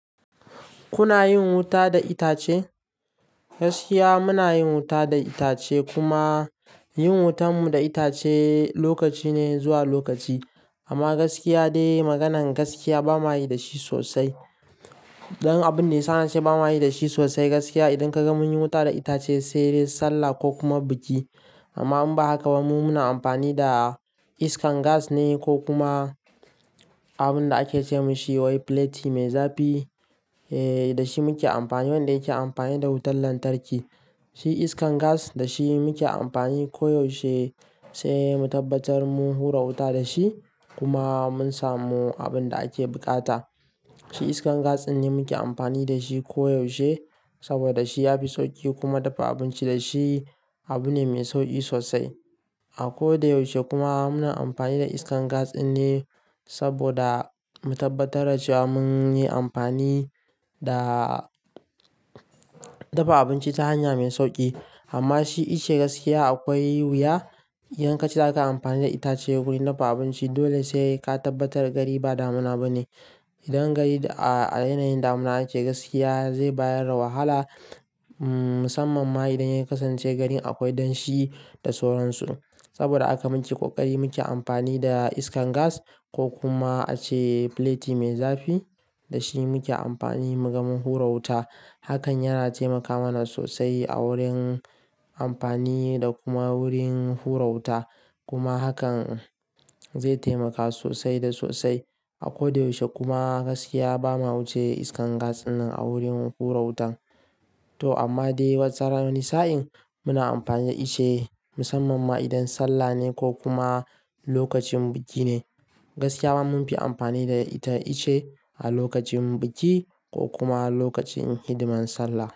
Kuna yin wuta da itace? Gaskiya muna yin wuta da itace kuma yin wutanmu da itace lokaci ne zuwa lokaci. Amma gaskiya dai maganan gaskiya ba mayi da shi sosai. Dan abun da yasa nace ba mayi da shi sosai gaskiya. Idan kaga mun yi wuta da itace sai dai sallah ko kuma biki. Amma in ba haka ba mu muna amfani da iskar gas ne ko kuma abin da ake ce masa wai plethi mai zafi. Eee da shi muke amfani wanda yake amfani da wutar lantarki. Shi iskar gas da shi muke amfani koyaushe sai mu tabbatar mun hura wuta da shi kuma mun samu abin da ake buƙata. Shi iskar gas din ne muke amfani da shi koyaushe saboda shi yafi sauƙi kuma dafa abinci da shi abu ne mai sauƙi sosai. A ko da yaushe kuma muna amfani da iskar gas din ne saboda mu tabbatar da cewa mun yi amfani da dafa abinci ta hanya mai sauƙi. Amma shi ice gaskiya akwai wuya idan kace zaka amfani da itace wurin dafa abinci dole sai ka tabbatar gari ba damina bane. Idan gari a yanayin damina ake gaskiya zai bayar da wahala. Ummm musamman ma idan ya kasance garin akwai danshi da soran su. Saboda aka muke ƙoƙari muke amfani da iskar gas ko kuma ace plethi mai zafi da shi muke amfani muga mun hura wuta. Hakan yana taimaka mana sosai a wurin amfani da kuma wurin hura wuta. Kuma hakan zai taimaka sosai da sosai. A ko da yaushe kuma gaskiya ba ma wuce iskar gas dinnan a wurin hura wutan. To amma dai wasu tsaran wasu sa'in muna amfani da ice musamman ma idan sallah ne ko kuma lokacin biki ne. Gaskiya ba mun fi amfani da ita ice a lokacin biki ko kuma lokacin hidiman sallah.